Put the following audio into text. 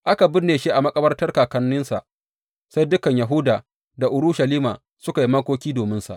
Aka binne shi a makabartar kakanninsa, sai dukan Yahuda da Urushalima suka yi makoki dominsa.